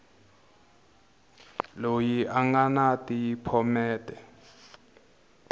loyi a nga ni phomete